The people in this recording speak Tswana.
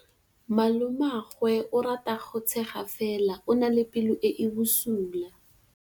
Malomagwe o rata go tshega fela o na le pelo e e bosula.